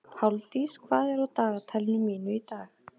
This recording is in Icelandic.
Páldís, hvað er á dagatalinu mínu í dag?